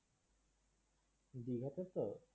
দীঘা তে তো